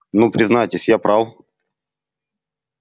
ну признавайтесь я прав